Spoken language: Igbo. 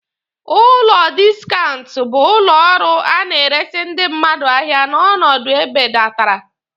Ụlọ diskaunt bụ ụlọ ọrụ a na-eresi ndị mmadụ ahịa n'ọnọdụ e bedatara.